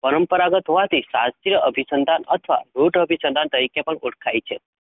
પરંપરાગત હોવાથી સાત્ય, અભી સંતાન અથવા રૂઠ અભી સંતાન તરીખે પણ ઓળખાય છે?